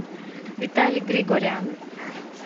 виталий григорян